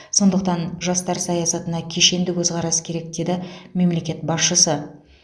сондықтан жастар саясатына кешенді көзқарас керек деді мемлекет басшысы